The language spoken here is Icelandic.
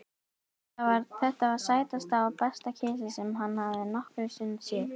Þetta var sætasta og besta kisa sem hann hafði nokkru sinni séð.